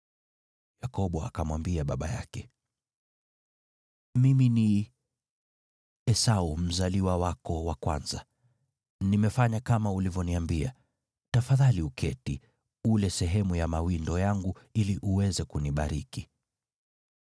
Yakobo akamwambia baba yake, “Mimi ni Esau mzaliwa wako wa kwanza. Nimefanya kama ulivyoniambia. Tafadhali uketi, ule sehemu ya mawindo yangu ili uweze kunibariki.”